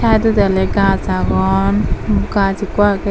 saidodi olo gaj agon gaj ekko aagey.